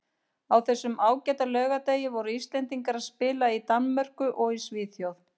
Á þessum ágæta laugardegi voru Íslendingar að spila í Danmörku og í Svíþjóð.